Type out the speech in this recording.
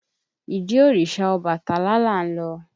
Ìdí òrìṣà Ọbàtálá là ń lọ.